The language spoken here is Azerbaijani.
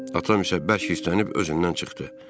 Atam isə bərk hirslənib özündən çıxdı.